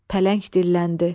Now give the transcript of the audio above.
Pələng dilləndi.